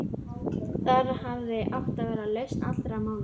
Þar hafði átt að vera lausn allra mála.